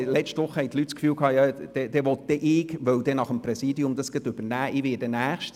Letzte Woche wurde gemutmasst, ich wolle nach dem Vizepräsidium des Grossen Rats dann gleich das SAK-Präsidium übernehmen.